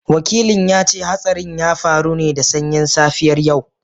Wakilin ya ce hatsarin ya faru ne da sanyin safiyar yau